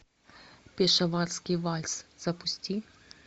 пешаварский вальс запусти